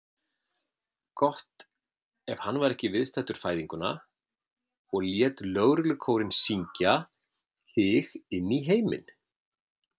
Gott ef hann var ekki viðstaddur fæðinguna og lét lögreglukórinn syngja þig inní heiminn.